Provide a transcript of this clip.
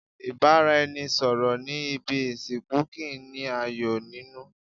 Ìbáraẹnisọ̀rọ̀ ní ibi ìsìnkú kìí ní ayọ̀ nínú.